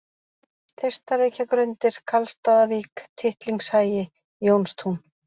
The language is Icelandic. Þeistareykjagrundir, Karlsstaðavík, Tittlingshagi, Jónstún